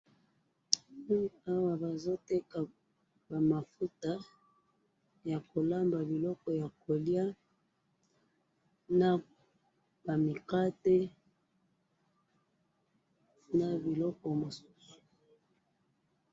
awa bazoteka ba mafuta ya kolamba biloko ya koliya ba mikate na biloko mosusu